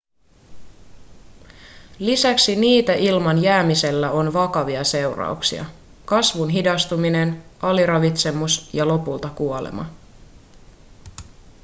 lisäksi niitä ilman jäämisellä on vakavia seurauksia kasvun hidastuminen aliravitsemus ja lopulta kuolema